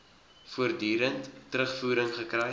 voortdurend terugvoering gekry